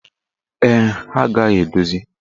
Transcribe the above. Ee, ha agaghị edozi.